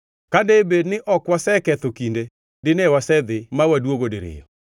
Ka debed ni ok waseketho kinde, dine wasedhi ma waduogo diriyo.”